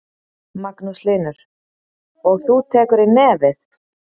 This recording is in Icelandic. Magnús Hlynur: Og þú tekur í nefið?